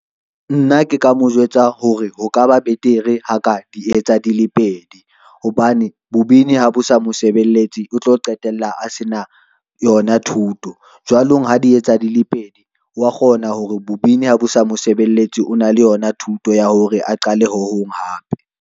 Nna ke ka mo jwetsa hore ho ka ba betere ha ka di etsa di le pedi hobane, bo bini ha bo sa mosebeletsi o tlo qetella a se na yona thuto, jwanong ha di etsa dile pedi wa kgona hore bo bini ha bo sa mosebeletsi, o na le yona thuto ya hore a qale ho hong hape.